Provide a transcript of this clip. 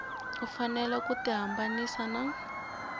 u fanele ku tihambanyisa na